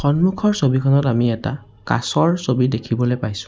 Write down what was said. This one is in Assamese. সন্মুখৰ ছবিখনত আমি এটা কাছৰ ছবি দেখিবলৈ পাইছোঁ।